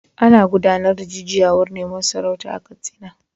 Ana gudanar da jujjuyawar neman sarauta a Katsina.